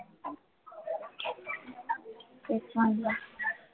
तेच म्हणलं